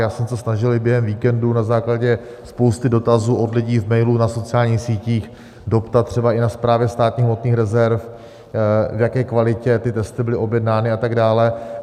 Já jsem se snažil i během víkendu na základě spousty dotazů od lidí v mailu, na sociálních sítích doptat třeba i na Správě státních hmotných rezerv, v jaké kvalitě ty testy byly objednány a tak dále.